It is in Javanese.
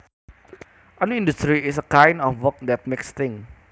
An industry is a kind of work that makes things